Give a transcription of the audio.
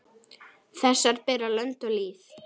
Þessar bera lönd og lýð.